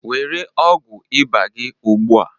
were ọgwụ ịba gị ugbu a